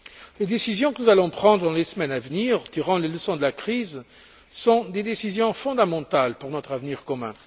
Les décisions que nous allons prendre dans les semaines à venir pour tirer les leçons de la crise sont des décisions fondamentales pour notre avenir commun.